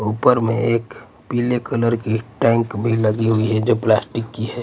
ऊपर में एक पीले कलर की टैंक भी लगी हुई है जो प्लास्टिक की है.